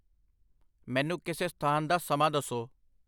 ਮੈਨੂੰ ਕਿਸੇ ਸਥਾਨ ਦਾ ਸਮਾਂ ਦੱਸੋ।